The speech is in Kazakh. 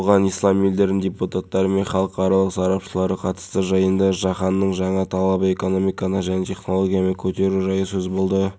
тамыз күні қазақстан республикасының терроризмге қарсы орталығы террористік қауіптің орташа сары деңгейін жылдың қаңтарына дейін ұзартты